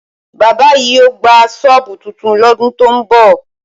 Bábà yìí yóò gba ṣọ́ọ̀bù tuntun lọ́dún tó ń bọ̀